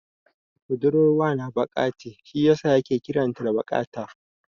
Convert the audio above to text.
Budurwar wana baƙa ce shi yasa yake kiran ta da Baƙata.